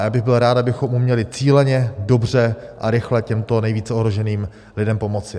A já bych byl rád, abychom uměli cíleně, dobře a rychle těmto nejvíce ohroženým lidem pomoci.